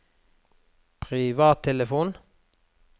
privattelefon